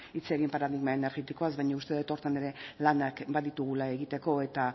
hitz egin paradigma energetikoaz baina uste dut horretan ere lanak baditugula hor egiteko eta